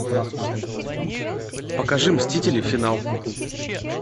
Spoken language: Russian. покажи мстители финал